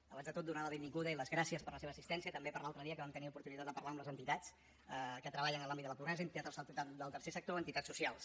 abans de tot donar la benvinguda i les gràcies per la seva assistència també per l’altre dia que vam tenir oportunitat de parlar amb les entitats que treballen en l’àmbit de la pobresa entitats del tercer sector entitats socials